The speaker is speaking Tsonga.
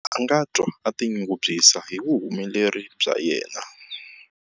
A nga twa a tinyungubyisa hi vuhumeleri bya yena.